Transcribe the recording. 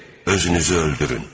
Özünüzü öldürün.